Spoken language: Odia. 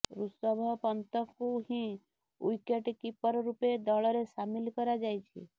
ଋଷଭ ପନ୍ତଙ୍କୁ ହିଁ ଓ୍ବିକେଟ୍ କିପର ରୂପେ ଦଳରେ ସାମିଲ କରାଯାଇଛି